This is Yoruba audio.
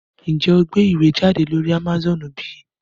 Njé o gbé ìwé jáde lórí Amazone bí?